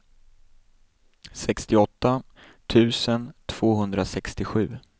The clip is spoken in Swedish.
sextioåtta tusen tvåhundrasextiosju